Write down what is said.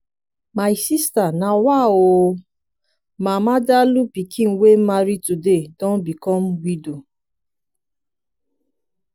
my sister nawa ooo! mama dalụ pikin wey marry today don become widow.